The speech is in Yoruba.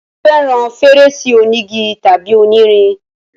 ṣé o fẹràn fèrèsé onígi tàbí onírin?